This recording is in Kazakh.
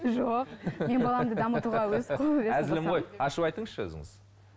жоқ мен баламды дамытуға әзілім ғой ашып айтыңызшы өзіңіз